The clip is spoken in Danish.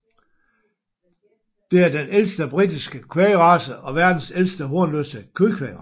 Det er den ældste britiske kvægrace og verdens ældste hornløse kødkvægrace